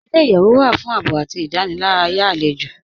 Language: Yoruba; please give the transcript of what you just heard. Ilẹ̀-iyẹ̀wù wà fún ààbọ̀ àti ìdánìlàràyà alẹ́jọ́